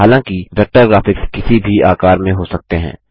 हालांकि vector graphics किसी भी आकार में हो सकते हैं